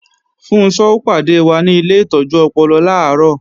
Funṣọ́ ó pàdé wa ni ilé ìtọ́jú ọpọlọ làárọ̀